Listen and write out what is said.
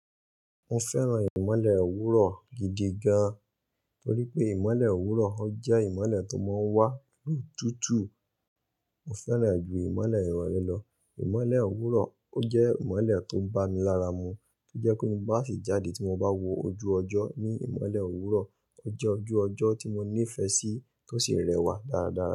Mo fẹ́ràn ìmole òwúrọ̀ gidi gan, torí pé ìmole òwúrọ̀ ọ jẹ́ ìmole tó máa ń wá ló tútù. Mo fẹ́ràn rẹ̀ ju ìmole ìrọ̀rẹ́ lọ. Imọlẹ owurọ o jẹ imọlẹ to ba mi lara mu. To jẹ pe ti ba si jade ti mo ba wo oju ọjọ ni imọle owurọ. O jẹ́ ojú ọjọ́ tí mo nífẹ̀ẹ́ sí tó sì rẹwà dáradára.